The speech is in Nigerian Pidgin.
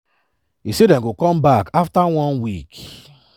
e say dem go come back afta one week.